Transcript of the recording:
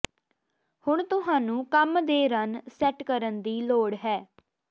ਹੁਣ ਤੁਹਾਨੂੰ ਕੰਮ ਦੇ ਰਨ ਸੈੱਟ ਕਰਨ ਦੀ ਲੋੜ ਹੈ